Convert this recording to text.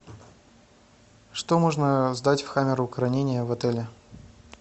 что можно сдать в камеру хранения в отеле